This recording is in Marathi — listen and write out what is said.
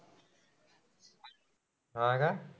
हा का?